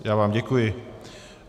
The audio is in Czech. Já vám děkuji.